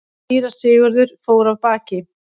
Síra Sigurður fór af baki.